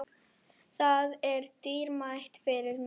Það er dýrmætt fyrir mig.